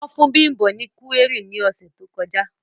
Wọn fun Bimbo ni kuwéri ni ọsẹ to kọja.